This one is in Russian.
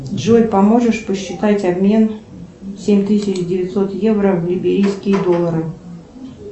джой поможешь посчитать обмен семь тысяч девятьсот евро в либерийские доллары